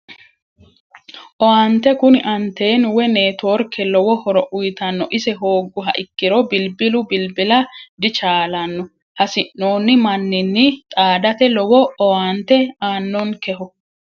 Owaante kuni anteenu woyi networke lowo horo uyitanno ise hoogguha ikkiro bilbilu bilbila dichaalanno hasi'noommo manninni xaadate lowo owaante aannonkeho